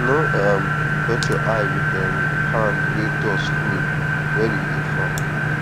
no um touch your eye with um hand wey dust full when you dey farm um